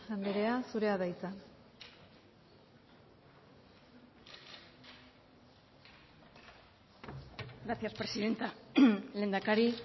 andrea zurea da hitza gracias presidenta lehendakari